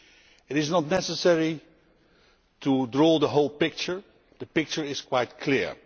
It is not necessary to draw the whole picture the picture is quite clear.